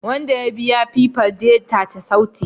Wanda ya biya Piper detate sautin